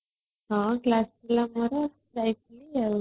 ହଁ class ଥିଲା ମୋର ଯାଇଥିଲି ଆଉ